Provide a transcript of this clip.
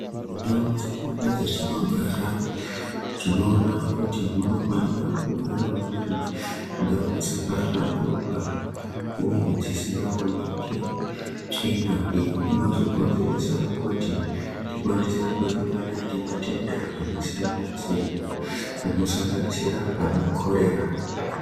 Mundau dzedu dzatinogara tinoona kuti munofanira kugarawo muriwo ndau dzakahlamburuka uye dzisingaoneki tsvina iyo inozokonzeresa kuti tikwanise kusangana nematenda akasiyanasiyana anosanganisira ana korera.